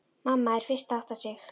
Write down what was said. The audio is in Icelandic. Mamma er fyrst að átta sig: